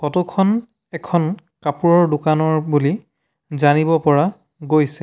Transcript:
Photo খন এখন কাপোৰৰ দোকানৰ বুলি জানিব পৰা গৈছে।